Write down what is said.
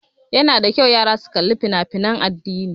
Ya na da kyau yara su kali fina fina addini